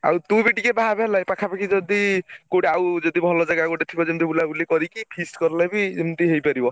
ଆଉ ତୁ ବି ଟିକେ ଭାବେ ହେଲା ପାଖାପାଖି ଯଦି କୋଉଠି ଆଉ ଯଦି ଭଲ ଜାଗା ଗୋଟେ ଥିବ ଯେମତି ବୁଲାବୁଲି କରିକି feast କଲେ ବି ଏମତି ହେଇ ପାରିବ।